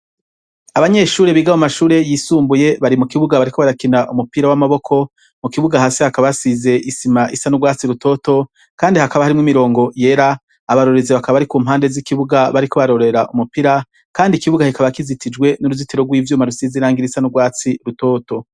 Abanyeshure biga mu mashure yisumbuye bari mu kibuga bariko barakina umupira w'amaboko, mu kibuga hasi hakaba hasize isima isa n'urwatsi rutoto kandi hakaba harimwo imirongo yera, abarorerezi bakaba bari ku mpande z'ikibuga bariko barorera umupira kandi ikibuga kikaba kizitijwe n'uruzitiro rw'ivyuma rusizi irangi risa n'urwatsi rutoto.